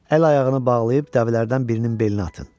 Əl ayağını bağlayıb dəvələrdən birinin belinə atın.